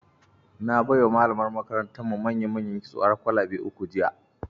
Na bai wa malamar makarantarmu mayamayan kitso har kwalabe uku jiya.